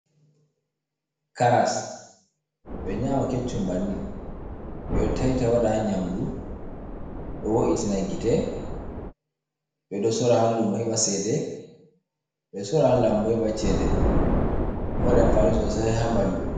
Karas, ɓe ɗo nyaama keccum banni, ɓe ɗo tayta waɗa haa nyamndu, ɗo wo’itina gite. Ɓe ɗo soora haa luumo heɓa ceede, ɓe ɗo sorra haa laambu heɓa ceede, ɗo mari ampaani soosayi haa ɓanndu.